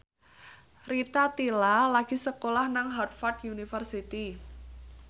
Rita Tila lagi sekolah nang Harvard university